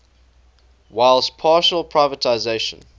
whilst partial privatisation